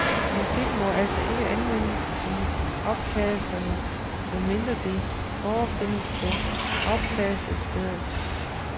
Musik må altså ikke anvendes i optagelserne med mindre det forefindes på optagelsesstedet.